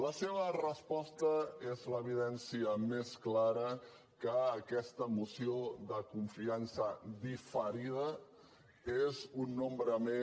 la seva resposta és l’evidència més clara que aquesta moció de confiança diferida és un número més